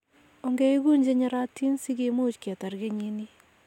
Ongeiguun che nyorotin sikimuuch kitar kenyini.